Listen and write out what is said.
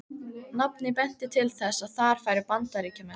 Nafnið benti til þess, að þar færu Bandaríkjamenn.